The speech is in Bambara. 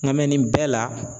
Nka nin bɛɛ la